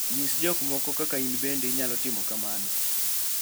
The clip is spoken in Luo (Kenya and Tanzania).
Nyis jomoko kaka in bende inyalo timo kamano